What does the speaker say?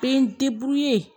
Bɛ n